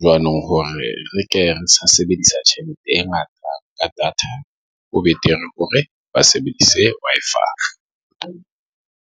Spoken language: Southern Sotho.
jwanong hore re ke re sebedisa tjhelete e ngata ka data ho betere hore ba sebedise Wi-Fi.